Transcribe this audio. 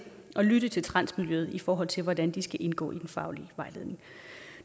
at lytte til transmiljøet i forhold til hvordan det skal indgå i den faglige vejledning